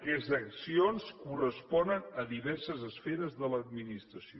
aquestes accions corresponen a diverses esferes de l’administració